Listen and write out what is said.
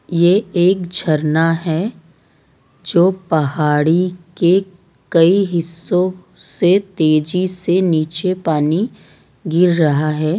ये एक झरना है जो पहाड़ी के कई हिस्सों से तेजी से नीचे पानी गिर रहा है।